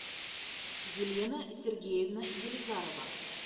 елена сергеевна елизарова